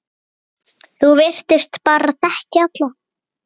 Þú virtist bara þekkja alla.